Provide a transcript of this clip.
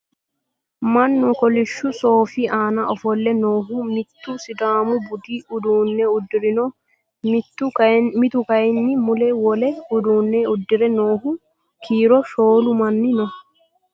Mannu kolishshu sooffi aanna offolle noohu mittu sidaamu budu uudune udirinno, mittu kayiinni mula wole uduunne udire noohu kiiro shoolu manni noo.